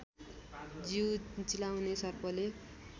जीउ चिलाउने सर्पले